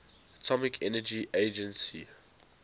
atomic energy agency